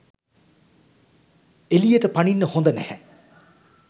එළියට පනින්න හොඳ නැහැ.